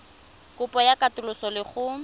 kopo ya katoloso le go